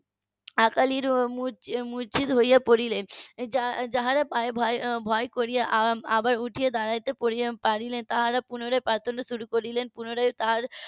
অকালিরা মূর্ছিত হয়ে পড়লেন যারা পায়ে ভর করে আবার উঠে দাঁড়াতে পারলেন তারা পুনরায় . পুনরায় তারা